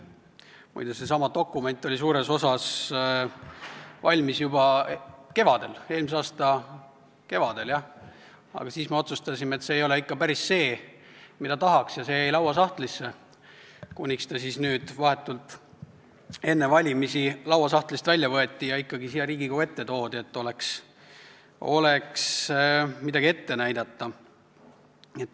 Muide, seesama dokument oli suures osas valmis juba eelmise aasta kevadel, aga siis me otsustasime, et see ei ole ikka päris see, mida tahaks, ja see jäi lauasahtlisse, kuniks ta nüüd, vahetult enne valimisi lauasahtlist välja võeti ja ikkagi siia Riigikogu ette toodi, et oleks midagi ette näidata.